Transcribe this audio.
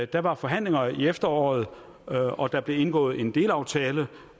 der var forhandlinger i efteråret og der blev indgået en delaftale